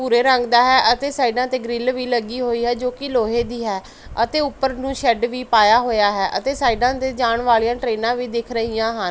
ਭੂਰੇ ਰੰਗ ਦਾ ਹੈ ਅਤੇ ਸਾਈਡਾਂ ਤੇ ਗ੍ਰਿਲ ਵੀ ਲੱਗੀ ਹੋਈ ਐ ਜੋ ਕਿ ਲੋਹੇ ਦੀ ਹੈ ਅਤੇ ਉੱਪਰ ਨੂੰ ਸ਼ੈੱਡ ਵੀ ਪਈਆ ਹੋਇਆ ਹੈ ਅਤੇ ਸਾਈਡਾਂ ਤੇ ਜਾਣ ਵਾਲੀਆਂ ਟ੍ਰੇਨਾਂ ਵੀ ਦਿਖ ਰਹੀਆਂ ਹਨ।